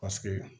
Paseke